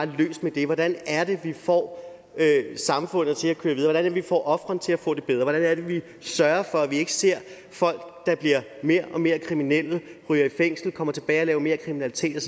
løst med det hvordan er det vi får samfundet til at køre videre hvordan er det vi får ofrene til at få det bedre hvordan er det vi sørger for at vi ikke ser folk der bliver mere og mere kriminelle ryger i fængsel kommer tilbage og laver mere kriminalitet